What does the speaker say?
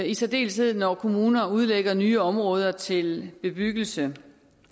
i særdeleshed når kommuner udlægger nye områder til bebyggelse